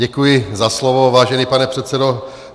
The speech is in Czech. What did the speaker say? Děkuji za slovo, vážený pane předsedo.